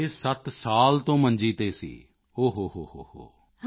7 ਸਾਲ ਤੋਂ ਮੰਜੀ ਤੇ ਸੀ ਓ ਹੋ ਹੋ